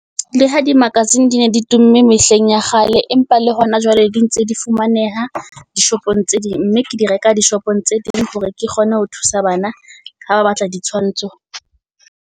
Le ha di-magazine di ne di tumme mehleng ya kgale, empa le hona jwale di ntse di fumaneha dishopong tse ding. Mme ke di reka di shopong tse ding hore ke kgone ho thusa bana, ha ba batla ditshwantsho.